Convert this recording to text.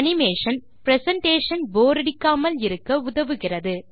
animation presentation போரடிக்காமல் இருக்க உதவுகிறது